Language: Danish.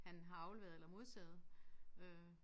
Han har afleveret eller modtaget øh